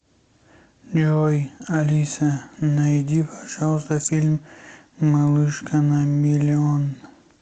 джой алиса найди пожалуйста фильм малышка на миллион